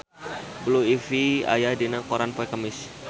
Blue Ivy aya dina koran poe Kemis